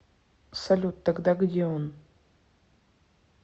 салют тогда где он